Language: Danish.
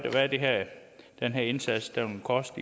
den her indsats vil koste